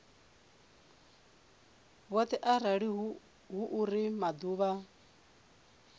vhoṱhe arali hu uri maḓuvha